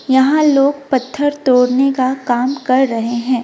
यहां लोग पत्थर तोड़ने का काम कर रहे हैं।